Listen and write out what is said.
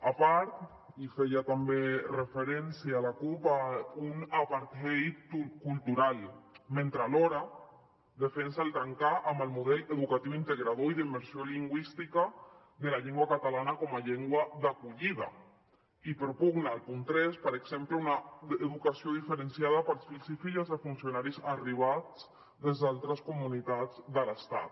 a part hi feia també referència la cup un apartheid cultural mentre alhora defensa trencar amb el model educatiu integrador i d’immersió lingüística de la llengua catalana com a llengua d’acollida i propugna al punt tres per exemple una educació diferenciada per als fills i filles de funcionaris arribats des d’altres comunitats de l’estat